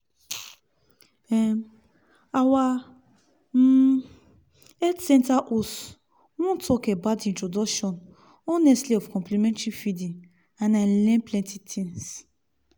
um our um health center host one talk about introduction honestly of complementary feeding and i learn plenty things.